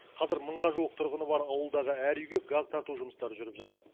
қазір мыңға жуық тұрғыны бар ауылдағы әр үйге газ тарту жұмыстары жүріп жатыр